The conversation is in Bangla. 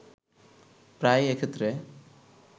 প্রায়ই এক্ষেত্রে